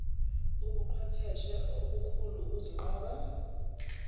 ubuqhwepheshe obukhulu ukuzinqoba